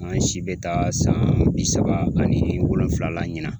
An si bɛ taa san bi saba ani wolonfula la ɲinan.